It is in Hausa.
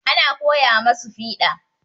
Ana koya masu fiɗa.